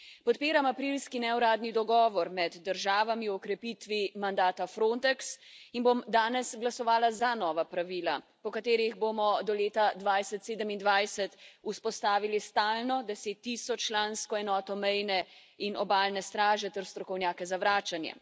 Podpiram aprilski neuradni dogovor med državami o okrepitvi mandata Frontex in bom danes glasovala za nova pravila, po katerih bomo do leta 2027 vzpostavili stalno deset tisoč člansko enoto mejne in obalne straže ter strokovnjake za vračanje.